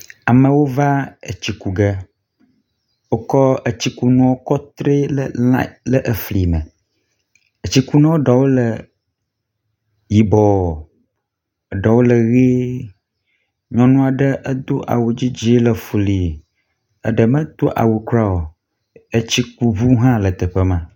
Amewo va etsi ku ge. Wokɔ etsikunuwo kɔ tri le line efli me. Etsikunua ɖewo le yibɔ eɖewo le ʋi. Nyɔnu aɖe edo awu dzidzi le fili eɖe medo awu kuɖa o. etsikuŋu hã le teƒe ma.